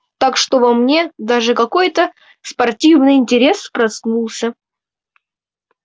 так что во мне даже какой-то спортивный интерес проснулся